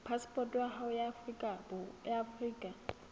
phasepoto ya hao ya afrika